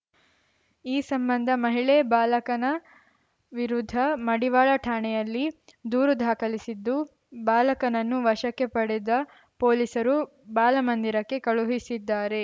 ಈ ಸಂಬಂಧ ಮಹಿಳೆ ಬಾಲಕನ ವಿರುದ್ಧ ಮಡಿವಾಳ ಠಾಣೆಯಲ್ಲಿ ದೂರು ದಾಖಲಿಸಿದ್ದು ಬಾಲಕನನ್ನು ವಶಕ್ಕೆ ಪಡೆದ ಪೊಲೀಸರು ಬಾಲಮಂದಿರಕ್ಕೆ ಕಳುಹಿಸಿದ್ದಾರೆ